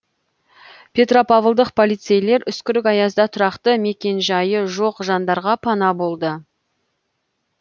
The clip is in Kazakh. петропавлдық полицейлер үскірік аязда тұрақты мекенжайы жоқ жандарға пана болды